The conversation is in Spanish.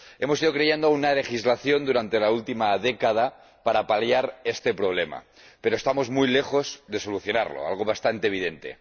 Hemos ido creando una legislación durante la última década para paliar este problema, pero estamos muy lejos de solucionarlo, algo bastante evidente.